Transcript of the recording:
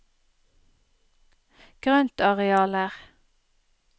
grøntarealer